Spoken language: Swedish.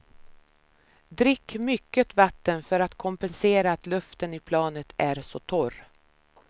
Drick mycket vatten för att kompensera att luften i planet är så torr.